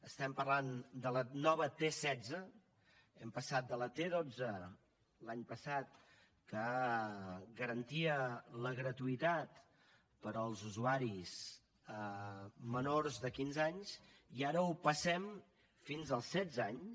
estem parlant de la nova t setze hem passat de la t dotze l’any passat que garantia la gratuïtat per als usuaris menors de quinze anys i ara ho passem fins als setze anys